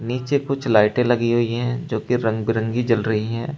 नीचे कुछ लाइटें लगी हुई हैं जो कि रंग बिरंगी जल रही हैं।